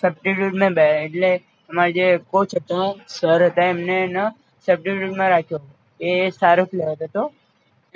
substitue મે બે એટલે અમાર જે કોચ હતા સર હતા એને એમના substitute માં રાખ્યો એ સારો player હતો